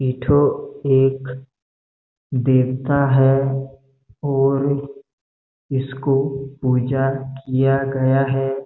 एक ठो एक देवता है और इसको पूजा किया गया है।